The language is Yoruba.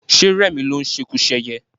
Ṣé rẹmi ló ń ṣekuṣẹyẹ?